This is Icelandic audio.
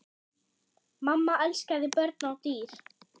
Mamma elskaði börn og dýr.